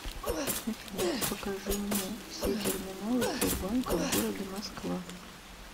афина покажи мне все терминалы сбербанка в городе москва